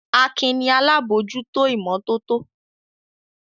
Akin ni alábòójútó ìmọ́tótó.